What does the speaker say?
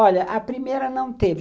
Olha, a primeira não teve.